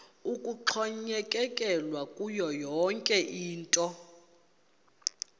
kuxhonyekekwe kuyo yinto